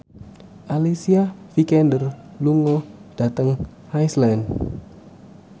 Alicia Vikander lunga dhateng Iceland